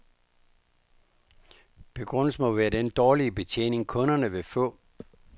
Begrundelsen må være den dårligere betjening, kunderne vil få.